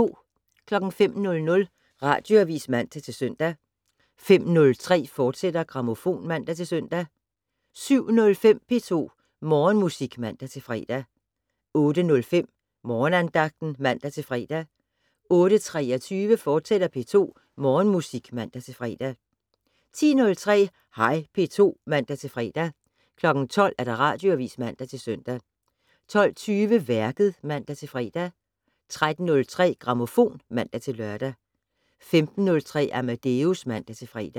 05:00: Radioavis (man-søn) 05:03: Grammofon *(man-søn) 07:05: P2 Morgenmusik (man-fre) 08:05: Morgenandagten (man-fre) 08:23: P2 Morgenmusik, fortsat (man-fre) 10:03: Hej P2 (man-fre) 12:00: Radioavis (man-søn) 12:20: Værket (man-fre) 13:03: Grammofon (man-lør) 15:03: Amadeus (man-fre)